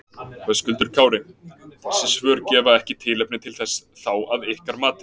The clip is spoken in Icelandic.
Höskuldur Kári: Þessi svör gefa ekki tilefni til þess þá að ykkar mati?